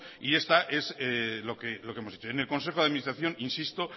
y esta es lo que hemos hecho en el consejo de administración insisto